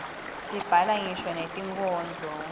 sibhala ngisho netinkhondlo